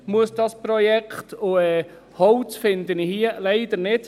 Und Holz finde ich hier leider nicht.